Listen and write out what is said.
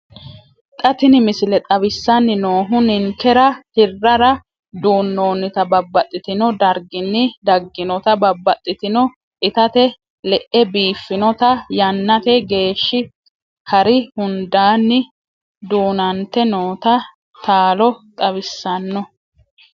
Xa tini missile xawissanni noohu ninkera hirrara duunnoonnita babbaxxino darginni dagginota babbaxxitino itate le'e biiffinota yannate geeshshi hari hundaanni duunante noota laalo xawissanno.